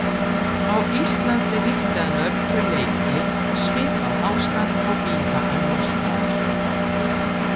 Á Íslandi ríkti að mörgu leyti svipað ástand og víða annars staðar.